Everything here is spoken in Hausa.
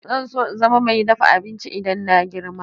Zan so in zama mai dafa abinci idan na girma.